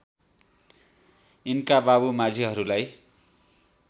यिनका बाबु माझीहरूलाई